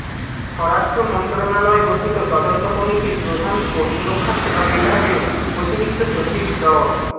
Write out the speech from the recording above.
স্বরাষ্ট্র মন্ত্রণালয় গঠিত তদন্ত কমিটির প্রধান ও সুরক্ষা সেবা বিভাগের অতিরিক্ত সচিব ড